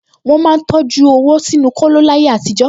Wọ́n máa ń tọjú owó sínú kóló láyé àtijọ́